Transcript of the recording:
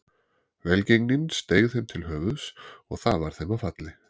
Velgengnin steig þeim til höfuðs og það varð þeim að falli.